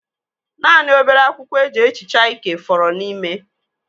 Naanị obere akwụkwọ e ji ehicha ike fọrọ n'ime.